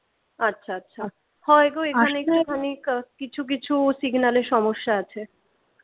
আচ্ছা আচ্ছা হয় গো এখানে একটুখানি কিছু কিছু signal এ সমস্যা আছে।